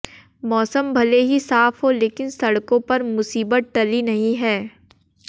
मौसम भले ही साफ हो लेकिन सड़कों पर मुसीबत टली नहीं है